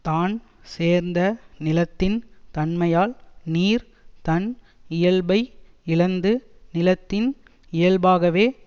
தான் சேர்ந்த நிலத்தின் தன்மையால் நீர் தன் இயல்பை இழந்து நிலத்தின் இயல்பாகவே